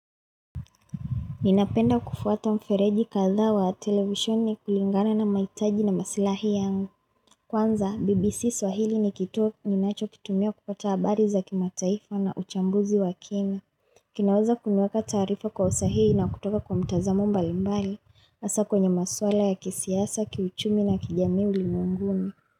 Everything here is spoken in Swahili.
Ninapenda kufuata mfereji katha wa televisioni kulingana na maitaji na masilahi ya kwanza BBC swahili ni kituo ninacho kitumia kupata habari za kimataifa na uchambuzi wa kina. Kinaweza kuniwaka tarifa kwa usahili na kutoka kwa mtazamo mbalimbali hasa kwenye maswala ya kisiasa, kiuchumi na kijami ulimwenguni.